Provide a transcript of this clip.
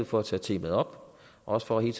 for at tage temaet op og også for hele